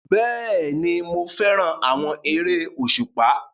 Bẹ́ẹ̀ni, mo fẹ́ràn àwọn eré òṣùpá